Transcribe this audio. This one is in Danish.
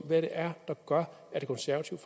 hvad det er der gør at det konservative